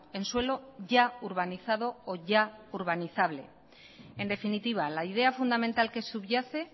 en suelo ya urbanizado o ya urbanizable en definitiva la idea fundamental que subyace